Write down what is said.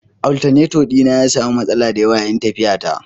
Alternator dina ya sami matsala da yawa yayin tafiyata